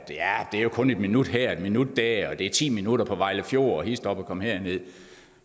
det jo kun er en minut her og en minut der og det er ti minutter på vejle fjord og hist op og kom herned